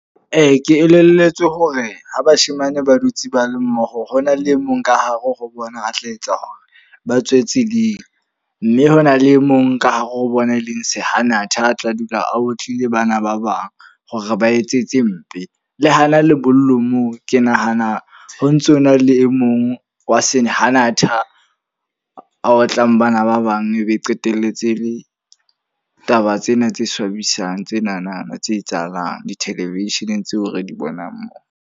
Ee, ke elelletswe hore ho bashemane ba dutse ba le mmoho hona le e mong ka hare ho bona a tla etsa hore ba tswe tseleng. Mme hona le e mong ka hare ho bona e leng sehanatha a tla dula a otlile bana ba bang hore ba etse tse mpe. Le hana lebollong moo ke nahana ho ntsona le e mong wa sahanatha a otlang bana ba bang ebe qetelletse le taba tsena tse swabisang. Tsenana tse etsahalang di-television tseo re di bonang mona.